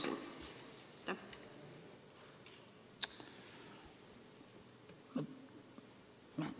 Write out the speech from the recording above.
Aitäh!